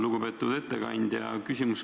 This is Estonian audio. Lugupeetud ettekandja!